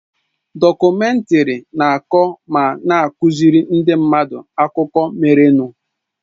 Dọkumèntari na-akọ ma na-akụziri ndị mmadụ akụkọ merenụ.